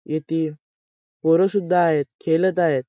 येथे पोरं सुद्धा आहेत खेलत आहेत.